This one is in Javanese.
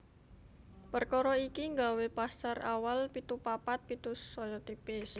Perkara iki nggawé pasar awal pitu papat pitu saya tipis